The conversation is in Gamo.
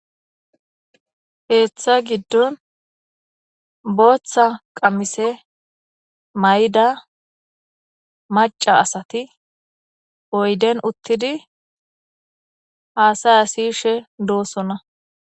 Keeththa giddon booththa qamise may7da maca asati oyden uttidi haasaya siishe doosonna.